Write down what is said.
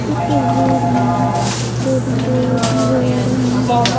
इस तस्वीर में दो तीन पुरुष नजर आ रहे हैं।